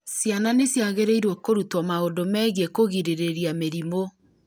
ciana nĩ ciagĩrĩirũo kũrutwo maũndũ megiĩ kũgirĩrĩria mĩrimũ